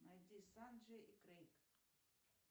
найди санджей и крейг